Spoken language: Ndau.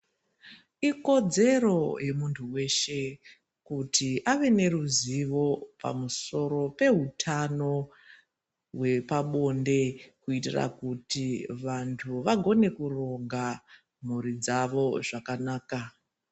Ikodzero yemuntu weshe, kuti ave neruzivo pamusoro pehutano hwepabonde, kuitira kuti vantu vagone kuronga mhuri dzavo zvakanaka.